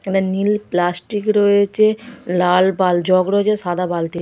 এখানে নীল প্লাষ্টিক রয়েছে লাল বাল জগ রয়েছে সাদা বালতি--